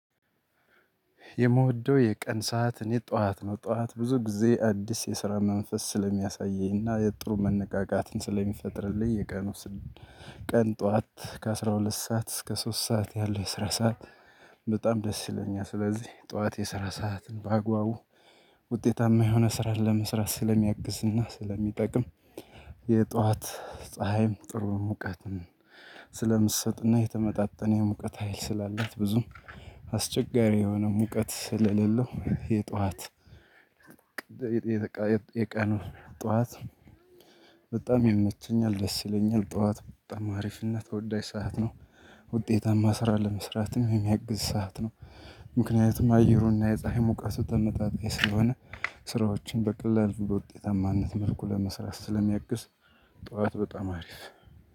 የመውደው የቀን ሰዓት እኔ ጠዋት ነው ጠዋት ብዙ ጊዜ አዲስ የስራ መንፈስ ስለሚያሳየኝ እና የጥሩ መነቃቃትን ስለሚፈጥርልኝ የቀኑ። ቀን ጠዋት ከአሥራ ሁለት ሰዓት እስከ ሶስት ሰዓት ያለው የስራ ሰዓት። በጣም ደስ ይለኛል ስለዚህ ጠዋት የስራ ሰዓትን በአግባቡ ውጤታማ የሆነ ስራ ለመስራት ስለሚያግዝ እና ስለሚጠቅም። የጠዋት ፀሀይም ጥሩም ሙቀትም ስለምትሰጥና የተመጣጠነ የሙቀት ሀይል ስላላት ብዙም አስቸጋሪ የሆነ ሙቀት ስለሌለው የጧት። የቀኑ ጧት በጣም ይመቸኛል ደስ ይለኛል ጠዋት በጣም አሪፍ እና ተወዳጅ ሰዓት ነው። ውጤታማ ስራ ለመስራትም የሚያግዝ ሰዓት ነው። ምክንያቱም አየሩና የፀሀይ ሙቀቱ ተመጣጣኝ ስለሆነ ስራዎችን በቀላሉ በውጤታማነት መልኩ ለመስራት ስለሚያግስ። ጠዋት በጣም አሪፍ